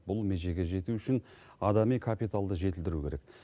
бұл межеге жету үшін адами капиталды жетілдіру керек